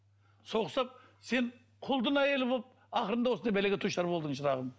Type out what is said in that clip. сол құсап сен құлдың әйелі болып ақырында осындай бәлеге душар болдың шырағым